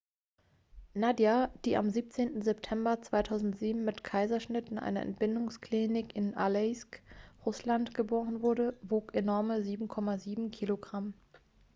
nadia die am 17. september 2007 mit kaiserschnitt in einer entbindungsklinik in aleisk russland geboren wurde wog enorme 7,7 kilogramm